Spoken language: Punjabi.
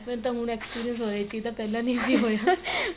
ਮੈਨੂੰ ਤਾਂ ਹੁਣ experience ਹੋਇਆ ਇਸ ਚੀਜ ਦਾ ਪਹਿਲਾਂ ਨਹੀਂ ਸੀ ਹੋਇਆ